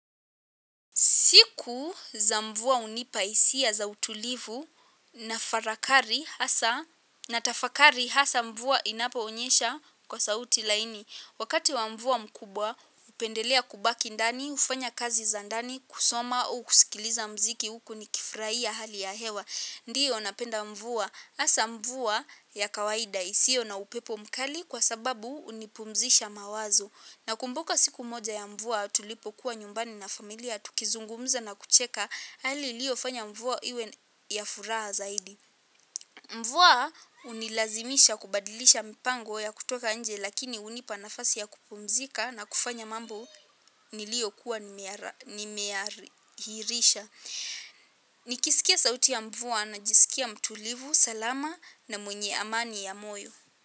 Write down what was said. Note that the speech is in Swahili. Siku za mvua hunipa hisia za utulivu na farakari hasa na tafakari hasa mvua inaponyesha kwa sauti laini. Wakati wa mvua mkubwa hupendelea kubaki ndani, hufanya kazi za ndani, kusoma u kusikiliza muziki huku ni kifurahia hali ya hewa. Ndiyo napenda mvua hasa mvua ya kawaida isiyo na upepo mkali kwa sababu hunipumzisha mawazo. Nakumbuka siku moja ya mvua tulipokuwa nyumbani na familia, tukizungumza na kucheka, hali iliyo fanya mvua iwe ya furaha zaidi. Mvua hunilazimisha kubadilisha mipango ya kutoka nje lakini hunipa nafasi ya kupumzika na kufanya mambo niliyokuwa nimeahirisha. Nikisikia sauti ya mvua najisikia mtulivu, salama na mwenye amani ya moyo.